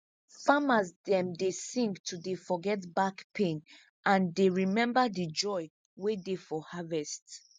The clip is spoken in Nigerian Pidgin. farmers dem dey sing to dey forget back pain and dey remember de joy wey dey for harvest